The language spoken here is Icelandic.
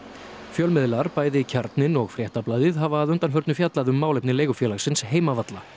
fjölmiðlar bæði Kjarninn og Fréttablaðið hafa að undanförnu fjallað um málefni leigufélagsins heimavalla